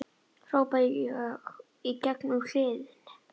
hrópa ég í gegn um kliðinn.